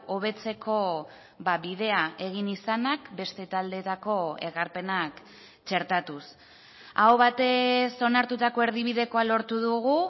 hobetzeko bidea egin izanak beste taldeetako ekarpenak txertatuz aho batez onartutako erdibidekoa lortu dugu